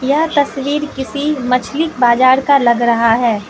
यह तस्वीर किसी मछली बाजार का लग रहा है।